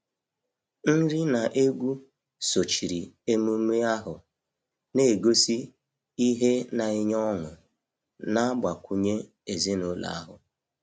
Nri na egwu sochiri emume ahụ, na-egosi ihe na-enye ọṅụ na-agbakwunye ezinụlọ ahụ.